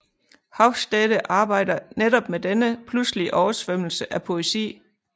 Hofstede arbejder netop med denne pludselige oversvømmelse af poesi